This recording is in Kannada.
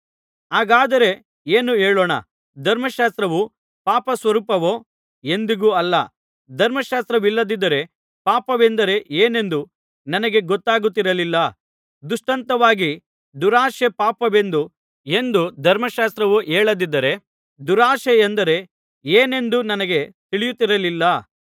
ಹಾಗಾದರೆ ಏನು ಹೇಳೋಣ ಧರ್ಮಶಾಸ್ತ್ರವು ಪಾಪಸ್ವರೂಪವೋ ಎಂದಿಗೂ ಅಲ್ಲ ಧರ್ಮಶಾಸ್ತ್ರವಿಲ್ಲದಿದ್ದರೆ ಪಾಪವೆಂದರೆ ಏನೆಂದು ನನಗೆ ಗೊತ್ತಾಗುತ್ತಿರಲಿಲ್ಲ ದೃಷ್ಟಾಂತವಾಗಿ ದುರಾಶೆ ಪಾಪವೆಂದು ಎಂದು ಧರ್ಮಶಾಸ್ತ್ರವು ಹೇಳದಿದ್ದರೆ ದುರಾಶೆಯಂದರೆ ಏನೆಂದು ನನಗೆ ತಿಳಿಯುತ್ತಿರಲಿಲ್ಲ